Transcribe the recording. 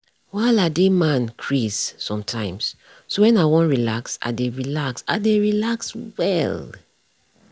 wahala dey man craze sometimes so when i won relax i dey relax i dey relax well.